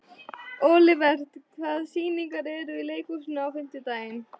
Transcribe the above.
Olivert, hvaða sýningar eru í leikhúsinu á fimmtudaginn?